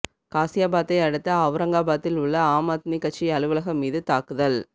காசியாபாத்தை அடுத்து அவ்ரங்காபாத்தில் உள்ள ஆம் ஆத்மி கட்சி அலுவலகம் மீது தாக்குதல்